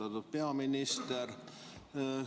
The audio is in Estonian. Austatud peaminister!